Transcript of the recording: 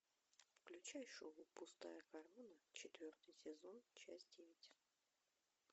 включай шоу пустая корона четвертый сезон часть девять